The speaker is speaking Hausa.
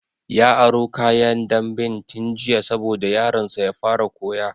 Ya aro kayan damben tun jiya saboda yaron sa ya fara koya